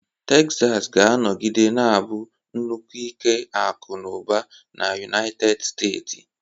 Texas ga-anọgide na-abụ nnukwu ike akụ na ụba na United Steeti.